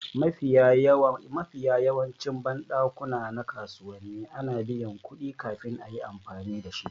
Mafiya yawancin banɗakuna na kasuwanni ana biyan kuɗi kafin a yi amfani dashi